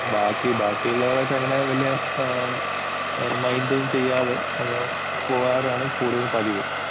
ബാക്കി ബാക്കിയുള്ളവരൊക്കെ വലിയ മൈന്‍റ് ഒന്നും ചെയ്യാതെ അങ്ങനെ പോവാറാണ് കൂടുതല്‍ പതിവ്.